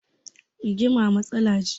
Rigima matsala ce